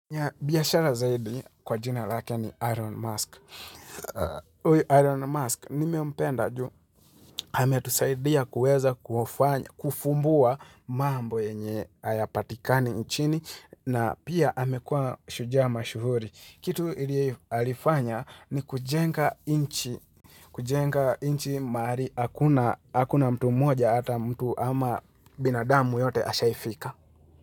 Nya biashara zaidi kwa jina lakini Iron Mask. Ui Iron Mask, nime umpenda juu, hametusaidia kuweza kufumbua mambo enye ayapatikani inchini na pia hamekua shujaa mashuhuri. Kitu ili alifanya ni kujenga inchi, kujenga inchi maari hakuna mtu moja ata mtu ama binadamu yote ashaifika.